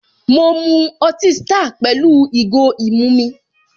Mọ mu ọtí star pẹ̀lú ìgò ìmu mi